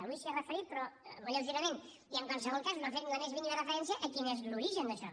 avui s’hi ha referit però molt lleugerament i en qualsevol cas no ha fet la més mínima referència a quin és l’origen d’això